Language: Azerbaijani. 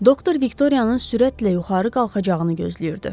Doktor Viktoriyanın sürətlə yuxarı qalxacağını gözləyirdi.